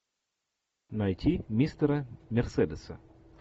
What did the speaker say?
найти мистера мерседеса